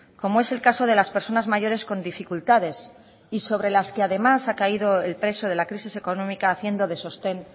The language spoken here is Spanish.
como es el caso de las personas mayores con dificultades y sobre las que además ha caído el peso de la crisis económica haciendo de sostén